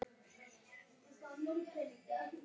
Missti helst ekki af leik.